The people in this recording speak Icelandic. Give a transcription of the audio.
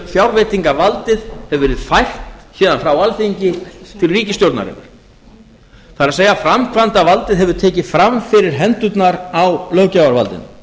fjárveitingavaldið hefur verið fært héðan frá alþingi til ríkisstjórnarinnar það er framkvæmdarvaldið hefur tekið fram fyrir hendurnar á löggjafarvaldinu